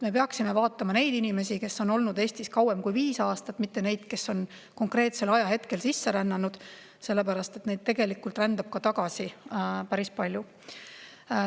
Me peaksime vaatama neid inimesi, kes on olnud Eestis kauem kui viis aastat, mitte neid, kes on konkreetsel ajahetkel sisse rännanud, sellepärast et neist tegelikult rändab ka tagasi päris palju.